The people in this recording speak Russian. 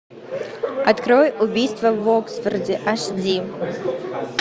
открой убийство в оксфорде аш ди